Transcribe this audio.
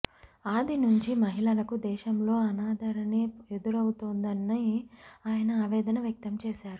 ఆది నుంచి మహిళలకు దేశంలో అనాదరణే ఎదురవుతోందని ఆయన ఆవేదన వ్యక్తం చేశారు